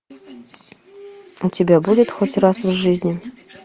у тебя будет хоть раз в жизни